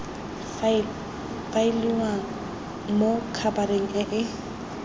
faeliwang mo khabareng e e